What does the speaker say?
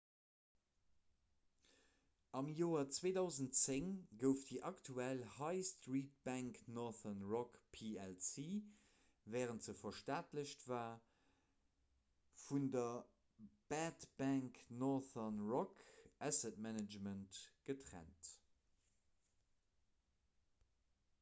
am joer 2010 gouf déi aktuell high-street-bank northern rock plc wärend se verstaatlecht war vun der 'bad bank' northern rock asset management getrennt